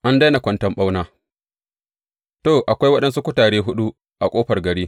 An daina kwanton ɓauna To, akwai waɗansu kutare huɗu a ƙofar gari.